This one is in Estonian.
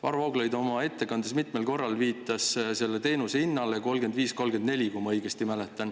Varro Vooglaid viitas oma ettekandes mitmel korral selle teenuse hinnale – 35,34, kui ma õigesti mäletan.